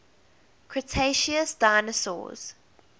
cretaceous dinosaurs